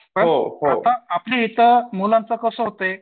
आता आपल्या इथं मुलांचं कसं होतंय